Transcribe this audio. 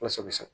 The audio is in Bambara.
Walasa sa